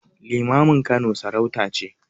Limamin Kano sarauta ce.